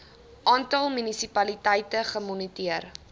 aantal munisipaliteite gemoniteer